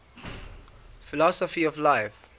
philosophy of life